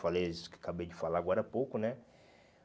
Falei isso que acabei de falar agora há pouco, né?